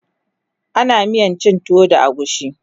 ana miyan cin tuwo da agushi